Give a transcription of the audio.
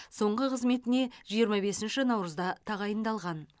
соңғы қызметіне жиырма бесінші наурызда тағайындалған